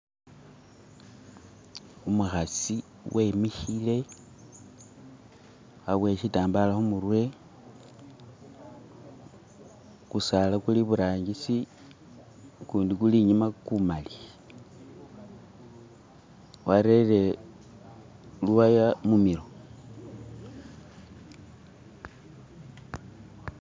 Umukasi wemikile aboyele shitambala kumutwe. kusaala kuli eburangisi ukundi kuli inyuma gumali wareere luwaya mumilo